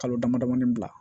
Kalo damadamani bila